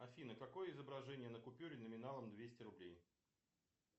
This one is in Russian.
афина какое изображение на купюре номиналом двести рублей